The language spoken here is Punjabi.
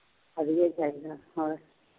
ਵਧੀਆਂ ਚਾਹੀਦਾ ਹੋਰ